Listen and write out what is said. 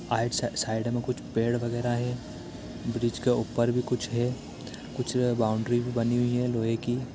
आइट -side में कुछ पेड़ वगेरा है ब्रिज के ऊपर भी कुछ है कुछ ए बाउंड्री भी बनी हुई है लोहे की--